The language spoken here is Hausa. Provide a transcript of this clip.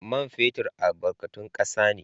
Man fetur albarkatun kasa ne.